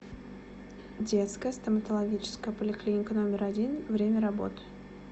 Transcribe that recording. детская стоматологическая поликлиника номер один время работы